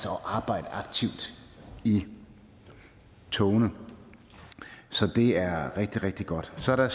og arbejde aktivt i togene så det er rigtig rigtig godt så er der